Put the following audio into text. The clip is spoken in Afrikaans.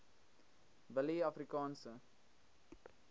willieafrikaanse